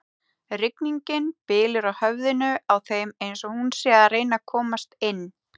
Rigningin bylur á höfðinu á þeim eins og hún sé að reyna að komast inn.